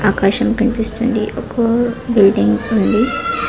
ఆకాశం కనిపిస్తుంది ఒక బిల్డింగ్ ఉంది.